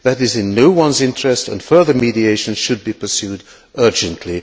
that is in no one's interests and further mediation should be pursued urgently.